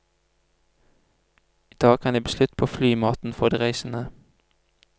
I dag kan det bli slutt på flymaten for de reisende.